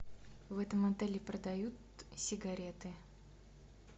в этом отеле продают сигареты